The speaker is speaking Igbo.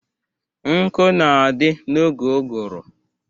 Nkụ na-adị n'oge ụgụrụ.